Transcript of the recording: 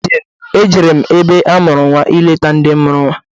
Ejere m ebe amụrụ nnwa ileta ndị mụrụ nnwa.